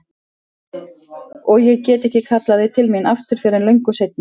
Og ég get ekki kallað þau til mín aftur fyrr en löngu seinna.